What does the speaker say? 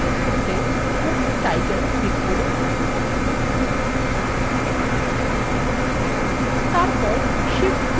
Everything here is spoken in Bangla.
প্রথমে সমস্ত labels নির্বাচন করতে book title ক্লিক করুন